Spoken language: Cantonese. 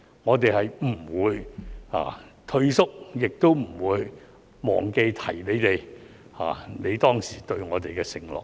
我們不會退縮，亦不會忘記提醒你們，你當時對我們的承諾。